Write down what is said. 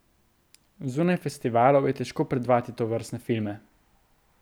Zunaj festivalov je težko predvajati tovrstne filme.